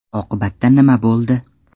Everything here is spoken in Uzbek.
Oqibatda nima bo‘ldi?